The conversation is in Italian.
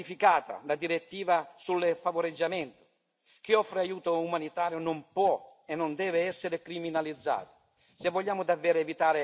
Chiedo che sia modificata la direttiva sul favoreggiamento chi offre aiuto umanitario non può e non deve essere criminalizzato.